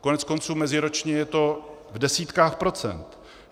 Koneckonců meziročně je to v desítkách procent.